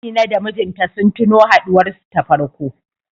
Amina da mijinta sun tuno haɗuwar su ta farko.